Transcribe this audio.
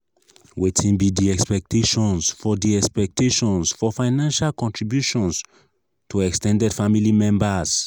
wetin be di expectations for di expectations for financial contributions to ex ten ded family members?